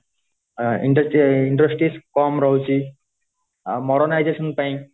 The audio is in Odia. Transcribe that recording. industry industries କମ ରହୁଚି ଆ modernizations ପାଇଁ